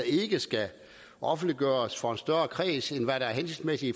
ikke skal offentliggøres mere for en større kreds end hvad der er hensigtsmæssigt i